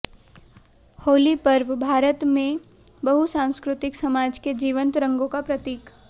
होली पर्व भारत में बहुसांस्कृतिक समाज के जीवंत रंगों का प्रतीक